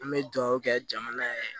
An bɛ dugawu kɛ jamana yɛrɛ ye